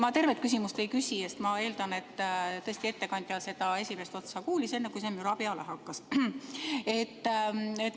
Ma tervet küsimust ei küsi, sest ma eeldan, et tõesti ettekandja seda esimest otsa kuulis, enne kui see müra peale hakkas.